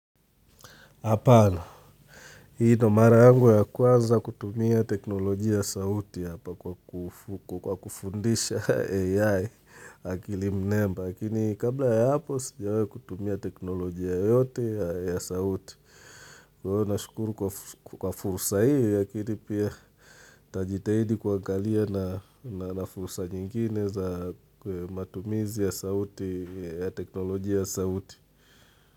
Hapana, hii ndo mara yangu ya kwaza kutumia teknoloji ya sauti hapa kwa kufundisha AI akili mnemba. Lakini kabla ya hapo sijawai kutumia teknoloji yoyote ya sauti. Kwa hio nashukuru kwa fursa hii lakini pia tajitaidi kuangalia na fursa nyingine za matumizi ya sauti, ya teknoloji ya sauti.